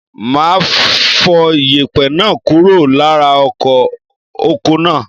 Máa fọ yèpẹ̀ náà kúrò lára ọkọ̀ oko náà.